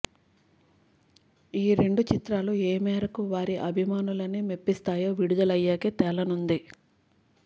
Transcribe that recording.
ఈ రెండు చిత్రాలు ఏ మేరకు వారి అభిమానులని మెప్పిస్తాయో విడుదలయ్యాకే తేలనుంది